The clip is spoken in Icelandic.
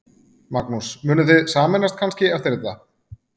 Magnús: Munuð þið sameinast kannski eftir þetta?